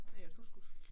Ja du skulle